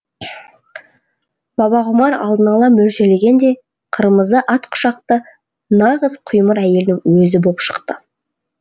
бабағұмар алдын ала мөлшерлегендей қырмызы от құшақты нағыз құймыр әйелдің өзі боп шықты